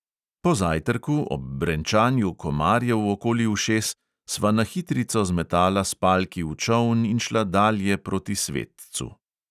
Po zajtrku ob brenčanju komarjev okoli ušes sva na hitrico zmetala spalki v čoln in šla dalje proti svetcu.